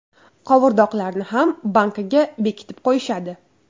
Qovurdoqlarni ham bankaga bekitib qo‘yishadi.